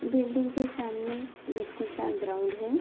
Building के सामने मिट्टी का ग्राउंड है।